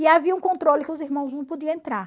E havia um controle que os irmãos não podiam entrar.